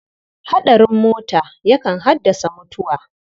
Haɗarin mota yakan haddasa mutuwa.